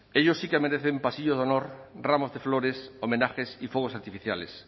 ellos sí que merecen pasillos de honor ramos de flores homenajes y fuegos artificiales